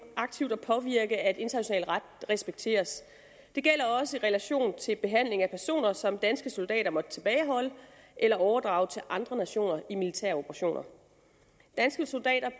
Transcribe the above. aktivt at påvirke at international ret respekteres det gælder også i relation til behandling af personer som danske soldater måtte tilbageholde eller overdrage til andre nationer i militære operationer danske soldater